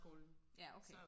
ja okay